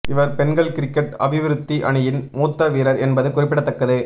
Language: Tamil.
இவர் பெண்கள் கிரிக்கெட் அபிவிருத்தி அணியின் மூத்த வீரர் என்பது குறிப்பிடத்தக்கது